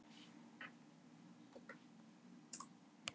Hér sést fáni Hvíta-Rússlands til vinstri og Rússlands til hægri.